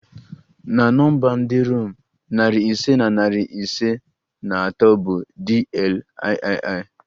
Na nọmba ndị Rom, narị ise na iri ise na atọ bụ DLIII